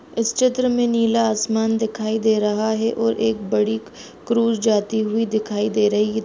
इस चित्र में नीला आसमान दिखाई दे रहा है और एक बड़ी क्रूर जाती हुई दिखाई दे रही है।